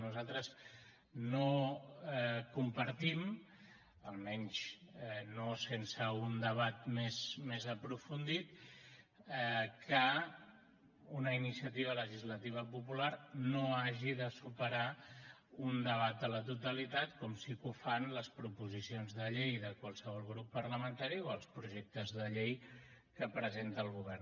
nosaltres no compartim almenys no sense un debat més aprofundit que una iniciativa legislativa popular no hagi de superar un debat a la totalitat com sí que ho fan les proposicions de llei de qualsevol grup parlamentari o els projectes de llei que presenta el govern